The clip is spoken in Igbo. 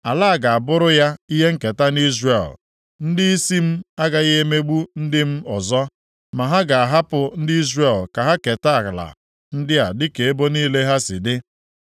Ala a ga-abụrụ ya ihe nketa nʼIzrel. Ndịisi m agaghị emegbu ndị m ọzọ, ma ha ga-ahapụ ndị Izrel ka ha keta ala ndị a dịka ebo niile ha si dị.